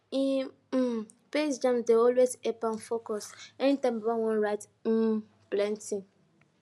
him um best jams dey always help am focusanytime baba wan write um plenty